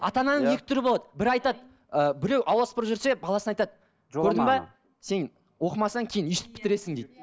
ата ананың екі түрі болады бірі айтады ы біреу аула сыпырып жүрсе баласына айтады көрдің бе сен оқымасаң кейін өстіп бітіресің дейді